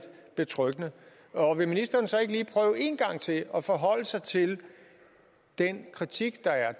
betryggende vil ministeren så ikke lige prøve en gang til at forholde sig til den kritik der er